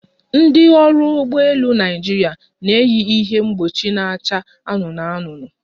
Ndị ọrụ ụgbọ elu Naịjirịa na-eyi ihe mkpuchi na-acha anụnụ anụnụ